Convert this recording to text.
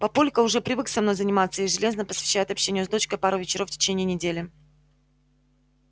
папулька уже привык со мной заниматься и железно посвящает общению с дочкой пару вечеров в течение недели